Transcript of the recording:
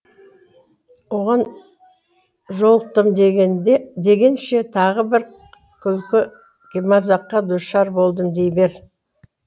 оған жолықтым дегенше тағы бір күлкі мазаққа душар болдым дей бер